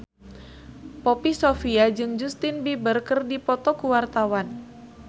Poppy Sovia jeung Justin Beiber keur dipoto ku wartawan